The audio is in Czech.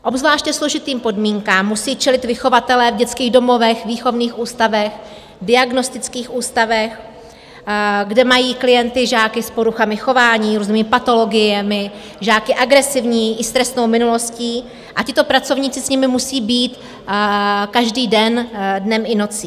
Obzvláště složitým podmínkám musí čelit vychovatelé v dětských domovech, výchovných ústavech, diagnostických ústavech, kde mají klienty žáky s poruchami chování, různými patologiemi, žáky agresivní i s trestnou minulostí, a tito pracovníci s nimi musí být každý den, dnem i nocí.